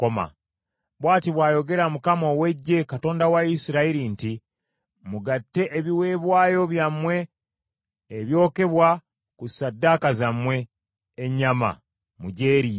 “Bw’ati bw’ayogera Mukama ow’Eggye, Katonda wa Isirayiri nti, Mugatte ebiweebwayo byammwe ebyokebwa ku ssaddaaka zammwe, ennyama mugyeriire.